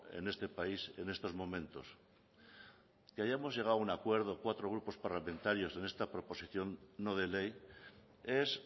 en este país en estos momentos que hayamos llegado a un acuerdo cuatro grupos parlamentarios en esta proposición no de ley es